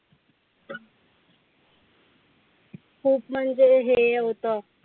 खूप म्हणजे हे होतं